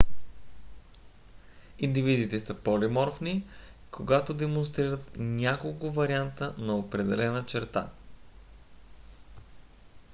индивидите са полиморфни когато демонстрират няколко варианта на определена черта